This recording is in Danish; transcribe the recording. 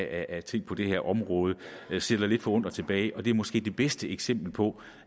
af ting på det her område sidder lidt forundret tilbage og det er måske det bedste eksempel på